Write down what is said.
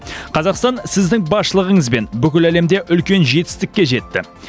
қазақстан сіздің басшылығыңызбен бүкіл әлемде үлкен жетістікке жетті